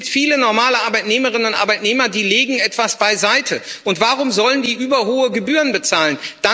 Es gibt viele normale Arbeitnehmerinnen und Arbeitnehmer, die etwas beiseitelegen, und warum sollen die überhohe Gebühren bezahlen?